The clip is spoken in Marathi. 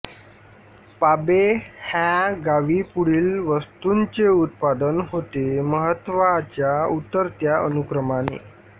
पाबे ह्या गावी पुढील वस्तूंचे उत्पादन होते महत्त्वाच्या उतरत्या अनुक्रमाने